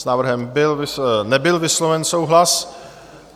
S návrhem nebyl vysloven souhlas.